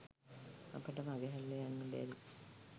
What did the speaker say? අපට මගහැරල යන්න බැරි